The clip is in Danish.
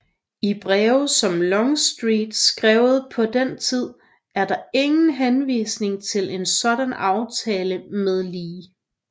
I breve som Longstreet skrev på den tid er der ingen henvisning til en sådan aftale med Lee